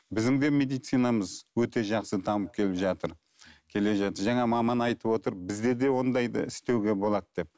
біздің де медицинамыз өте жақсы дамып келіп жатыр келе жатыр жаңа маман айтып отыр бізде де ондайды істеуге болады деп